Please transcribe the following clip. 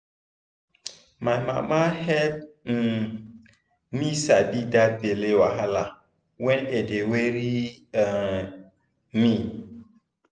my mama help um me sabi that belly wahala when e dey worry um me